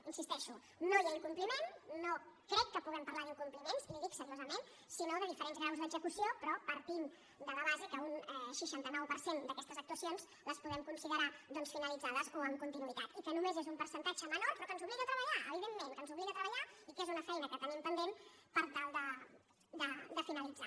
hi insisteixo no hi ha incompliment no crec que puguem parlar d’incompliments li ho dic seriosament sinó de diferents graus d’execució però partint de la base que un seixanta nou per cent d’aquestes actuacions les podem considerar doncs finalitzades o amb continuïtat i que només és un percentatge menor però que ens obliga a treballar evidentment que ens obliga a treballar i que és una feina que tenim pendent per tal de finalitzar